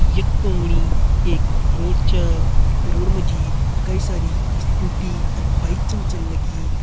यक पुंगड़ी एक रोड च रोड मजी कई सारी स्कूटी अर बाइक छन चन्न लगी।